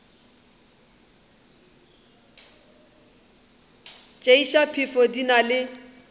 tšeiša phefo di na le